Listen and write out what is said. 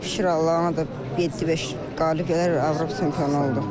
Şükür Allaha ona da 7-5 qalib gəlib Avropa çempionu oldum.